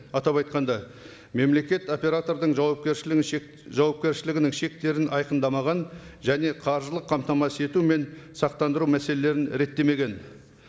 атап айтқанда мемлекет оператордың жауапкершілігін жауапкершілігінің шектерін айқандамаған және қаржылық қамтамасыз ету мен сақтандыру мәселелерін реттемеген